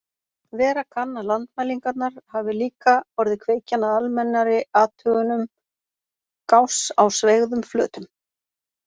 Vera kann að landmælingarnar hafi líka orðið kveikjan að almennari athugunum Gauss á sveigðum flötum.